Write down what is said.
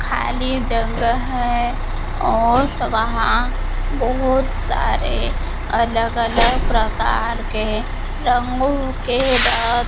खाली जगह है और वहां बहोत सारे अलग अलग प्रकार के रंगों के र--